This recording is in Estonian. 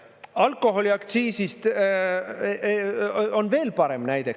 Alkoholiaktsiisist on veel parem näide.